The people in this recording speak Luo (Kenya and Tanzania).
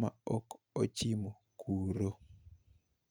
ma ok ochimo kuro.